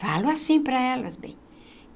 Falo assim para elas, bem.